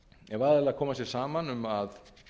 ef aðilar koma sér saman um að